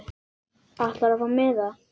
Ætlarðu að fá miða?